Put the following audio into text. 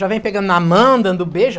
Já vem pegando na mão, dando beijo.